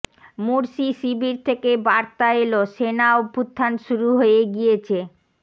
মুরশি শিবির থেকে বার্তা এল সেনা অভ্যুত্থান শুরু হয়ে গিয়েছে